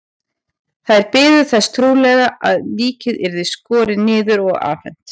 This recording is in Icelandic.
Þær biðu þess trúlega að líkið yrði skorið niður og afhent.